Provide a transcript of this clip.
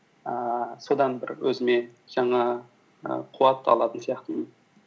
ііі содан бір өзіме жаңа і қуат алатын сияқтымын